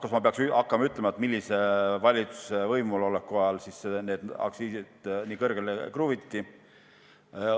Kas ma peaksin ütlema, millise valitsuse võimuloleku ajal need aktsiisid nii kõrgeks kruviti?